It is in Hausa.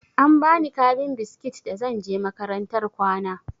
An bani kabin biskit da zan je makarantar kwana.